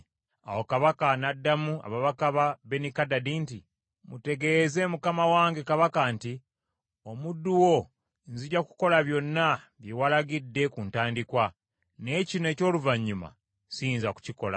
Awo kabaka n’addamu ababaka ba Benikadadi nti, “Mutegeeze mukama wange kabaka nti, ‘Omuddu wo nzija kukola byonna bye walagidde ku ntandikwa, naye kino eky’oluvannyuma siyinza kukikola.’ ”